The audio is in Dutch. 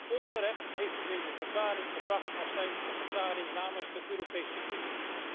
Ten onrechte heeft u deze verklaring geuit als een verklaring namens de Europese Unie.